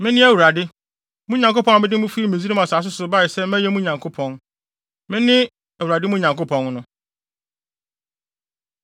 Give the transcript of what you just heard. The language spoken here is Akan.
Mene Awurade, mo Nyankopɔn a mede mo fi Misraim asase so bae sɛ mɛyɛ mo Nyankopɔn. Mene Awurade mo Nyankopɔn no.”